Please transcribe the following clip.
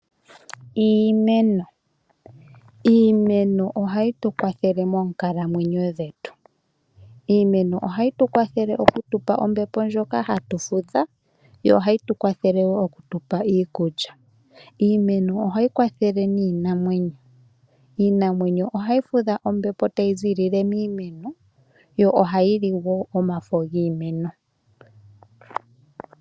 Iimeno. Iimeno ohayi tu kwathele moonkalamwenyo dhetu. Iimeno ohayi tu kwathele okutupa ombepo ndjoka hatu fudha, yo ohayi tukwafele wo okutupa iikulya. Iimeno ohayi kwathele niinamwenyo. Iinamwenyo ohayi fudha ombepo tayi zilile miimeno, yo ohayili wo omafo giimeno.